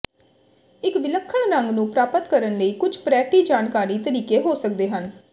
ਇੱਕ ਵਿਲੱਖਣ ਰੰਗ ਨੂੰ ਪ੍ਰਾਪਤ ਕਰਨ ਲਈ ਕੁਝ ਪਰੈਟੀ ਜਾਣਕਾਰੀ ਤਰੀਕੇ ਹੋ ਸਕਦੇ ਹਨ